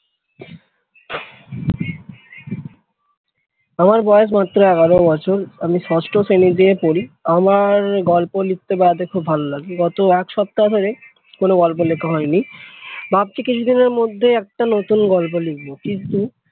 আমার বয়স মাত্র এগারো বছর আমি ষষ্ঠ শ্রেণীতে পড়ি আমার গল্প লিখতে খুব ভালো লাগে গত এক সপ্তাহ ধরে কোন গল্প লেখা হয়নি ভাবছি কিছুদিনের মধ্যে একটা নতুন গল্প লিখব কিন্তু